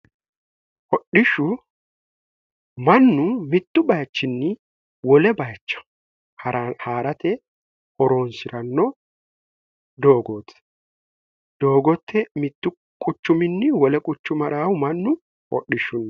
hodhishshu mannu mittu baichinni wole bayicha haa'rate horoonsi'ranno doogoote doogotte mittu quchuminni wole quchu maraahu mannu hodhishshunni